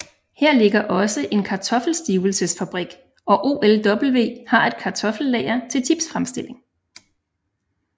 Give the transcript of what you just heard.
Her ligger også en kartoffelstivelsesfabrik og OLW har et kartoffellager til chipsfremstilling